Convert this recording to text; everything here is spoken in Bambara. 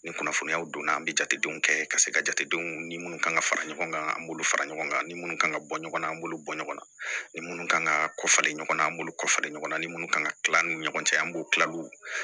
Ni kunnafoniyaw donna an be jatedenw kɛ ka se ka jatedenw ni munnu kan ŋa fara ɲɔgɔn kan an b'olu fara ɲɔgɔn kan ni minnu kan ka bɔ ɲɔgɔn na an b'olu bɔ ɲɔgɔn na ni minnu kan ka kɔfɛ ɲɔgɔn na an b'olu kɔfɛ ɲɔgɔn na ni minnu kan ka kila an ni ɲɔgɔn cɛ an b'u kila olu